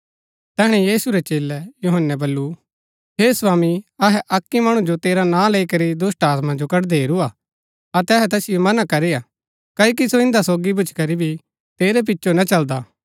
तैहणै यीशु रै चेलै यूहन्‍नै वल्‍लु हे स्वामी अहै अक्की मणु जो तेरा नां लैई करी दुष्‍टात्मा जो कड़दै हेरूआ अतै अहै तैसिओ मना करीआ क्ओकि सो इन्दा सोगी भूच्ची करी भी तेरै पिचो ना चलदा